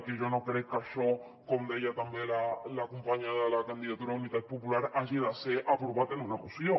i jo no crec que això com deia també la companya de la candidatura d’unitat popular hagi de ser aprovat en una moció